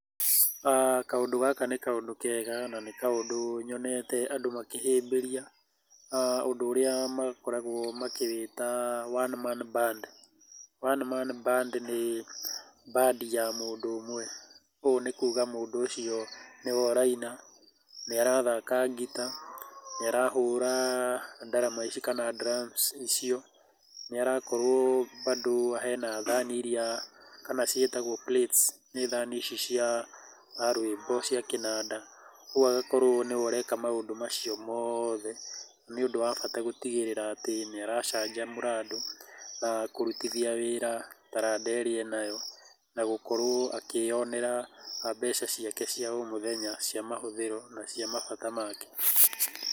Kaũndũ gaka nĩ kaũndũ kega na nĩ kaũndũ nyonete andũ makĩhĩmbĩria. Uh, ũndũ ũrĩa wakoragwo wakĩwĩta one man band. one man band nĩ band ya mũndũ ũmwe, ũũ nĩ kuuga mũũndũ ũcio nĩwe ũraina, nĩarathaka ngita, niarahũra ndarama ici kana drums icio, niarakorwo bado ena thaani iria kana ciĩtagwo plates, nĩ thaani ici cia uh rwĩmbo cia kĩnanda, ũguo agakorwo nĩwe ureeka maũndũ macio moothe nĩ ũndũ wa bata gũtigĩrĩra atĩ nĩaracanjamũra andũ na kũrutithia wĩra taranda ĩrĩa enayo na gũkorowo akionera mbeca ciake cia omuthenya cia mahũthiro na cia mabata make.